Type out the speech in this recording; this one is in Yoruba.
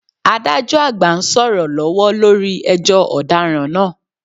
Adájọ́ àgbà ń sọ̀rọ̀ lọ́wọ́ lórí ẹjọ́ ọ̀daràn náà